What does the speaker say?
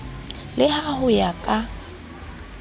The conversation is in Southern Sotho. le ha ho ya ka